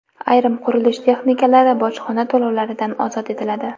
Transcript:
Ayrim qurilish texnikalari bojxona to‘lovlaridan ozod etiladi.